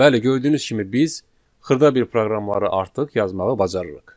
Bəli, gördüyünüz kimi biz xırda bir proqramları artıq yazmağı bacarırıq.